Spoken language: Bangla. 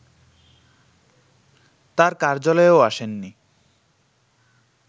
তার কার্যালয়েও আসেননি